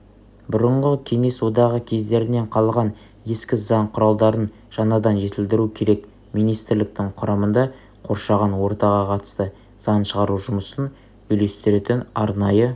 бұрынғы кеңес одағы кездерінен қалған ескі заң құралдарын жаңадан жетілдіру керек министрліктің құрамында қоршаған ортаға қатысты заң шығару жұмысын үйлестіретін арнайы